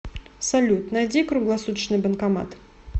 салют найди круглосуточный банкомат